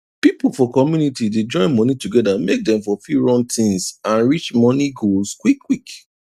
pipu for community dey join moni togeda make dem for fit run tins and reach moni goals quick quick